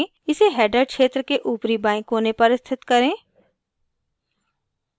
इसे header क्षेत्र के ऊपरी बाएं कोने पर स्थित करें